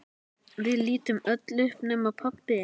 Við lítum öll upp nema pabbi.